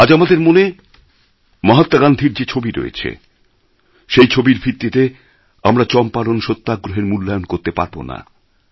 আজ আমাদের মনে মহাত্মা গান্ধীর যে ছবি রয়েছে সেই ছবির ভিত্তিতে আমরা চম্পারণ সত্যাগ্রহের মূল্যায়ন করতে পারব না